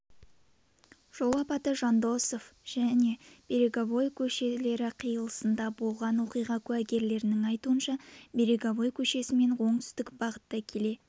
жол апаты жандосов және береговой көшелері қиылысында болған оқиға куәгерлерінің айтуынша береговой көшесімен оңтүстік бағытта келе